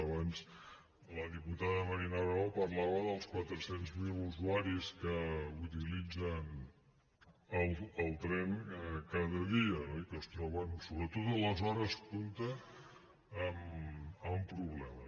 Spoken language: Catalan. abans la diputada marina bravo parlava dels quatre cents miler usuaris que utilitzen el tren cada dia i que es troben sobretot a les hores punta amb problemes